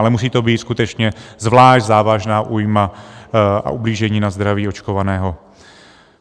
Ale musí to být skutečně zvlášť závažná újma a ublížení na zdraví očkovaného.